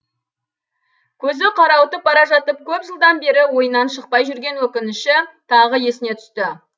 көзі қарауытып бара жатып көп жылдан бері ойынан шықпай жүрген өкініші тағы есіне түсті